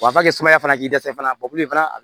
Wa kɛ sumaya fana k'i dɛsɛ fana fana